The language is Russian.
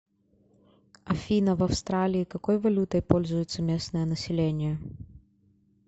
афина в австралии какой валютой пользуется местное население